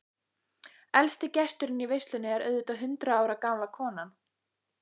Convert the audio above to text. Elsti gesturinn í veislunni er auðvitað hundrað ára gamla konan.